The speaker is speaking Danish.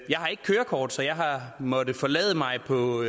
jeg har ikke kørekort så jeg har måttet forlade mig på